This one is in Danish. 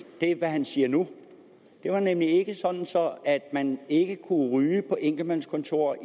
hvad han siger nu det var nemlig ikke sådan så man ikke kunne ryge på enkeltmandskontorer